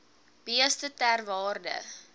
beeste ter waarde